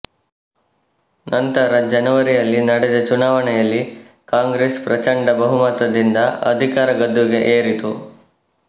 ನಂತರ ಜನವರಿಯಲ್ಲಿ ನಡೆದ ಚುನಾವಣೆಯಲ್ಲಿ ಕಾಂಗ್ರೆಸ್ ಪ್ರಚಂಡ ಬಹುಮತದಿಂದ ಅಧಿಕಾರ ಗದ್ದುಗೆ ಏರಿತು